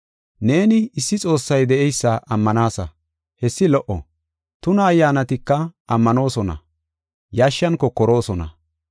Neeni, issi Xoossay de7eysa ammanaasa; hessi lo77o. Tuna ayyaanatika ammanoosona; yashshan kokoroosona.